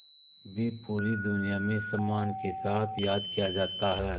भी पूरी दुनिया में सम्मान के साथ याद किया जाता है